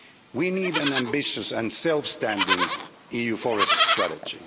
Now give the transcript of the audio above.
We need an ambitious and self standing EU forest strategy.